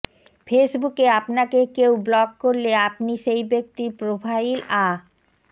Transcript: ফেসবুকে আপনাকে কেউ ব্লক করলে আপনি সেই ব্যক্তির প্রোফাইল আ